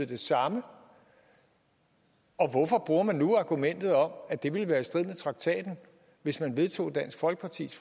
det samme og hvorfor bruger man nu argumentet om at det ville være i strid med traktaten hvis man vedtog dansk folkepartis